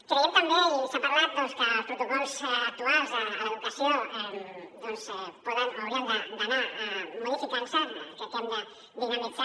creiem també i s’ha parlat que els protocols actuals a l’educació doncs poden o haurien d’anar modificant se crec que ho hem de dinamitzar